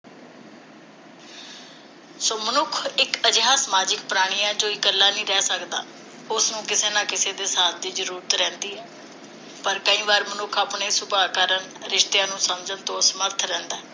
ਸੋ ਮਨੁੱਖ ਇਕ ਅਜਿਹਾ ਸਮਾਜਿਕ ਪ੍ਰਾਣੀ ਹੈ ਜੋ ਇਕੱਲਾ ਨਹੀਂ ਰਹਿ ਸਕਦਾ, ਉਸਨੂੰ ਕਿਸੇ ਨਾ ਕਿਸੇ ਦੇ ਸਾਥ ਦੀ ਜ਼ਰੂਰਤ ਰਹਿੰਦੀ ਹੈ ਪਰ ਕਈ ਵਾਰ ਮਨੁੱਖ ਆਪਣੇ ਸੁਭਾਅ ਕਾਰਣ ਰਿਸ਼ਤਿਆਂ ਨੂੰ ਸਮਝਣ ਤੋਂ ਅਸਮਰਥ ਰਹਿੰਦਾ ਹੈ